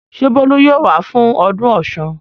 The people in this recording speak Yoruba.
Ṣé Bólú yóò wá fún ọdún Ọ̀ṣun?